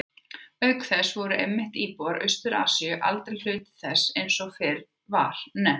Auk þess voru einmitt íbúar Austur-Asíu aldrei hluti þess eins og fyrr var nefnt.